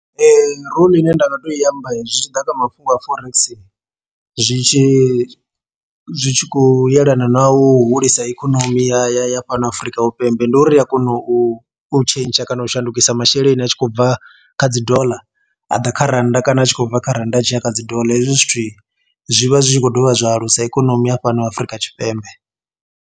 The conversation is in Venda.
Role ine nda nga to i amba zwi tshi ḓa kha mafhungo a forex zwi tshi zwi tshi khou yelana na hu hulisa ikonomi ya fhano Afrika Vhupembe ndi uri ri a kona u u tshentsha kana u shandukisa masheleni a tshi khou bva kha dzi doḽa a ḓa kha rannda kana a tshi khou bva kha rannda a tshiya kha dzi doḽa hezwi zwithu zwi vha zwi tshi khou dovha zwa alusa ikonomi ya fhano Afrika Tshipembe.